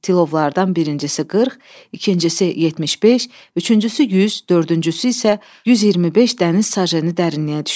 Tilovlardan birincisi 40, ikincisi 75, üçüncüsü 100, dördüncüsü isə 125 dəniz sajenı dərinliyə düşdü.